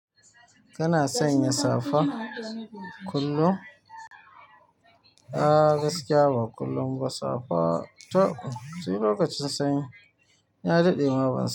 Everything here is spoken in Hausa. Kana sanya safa kullum? A gaskiya ba kullum ba, safa taɓ sai lokacin sanyi ya daɗe ma ban san.